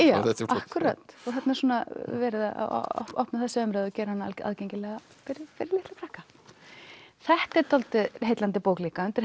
akkúrat verið að opna þessa umræðu og gera hana aðgengilega fyrir litla krakka þetta er dálítið heillandi bók líka undir